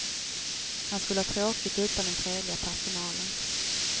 Han skulle ha tråkigt utan den trevliga personalen.